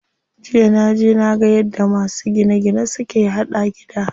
Jiya naje naga yadda masu gine gine suke haɗa gida.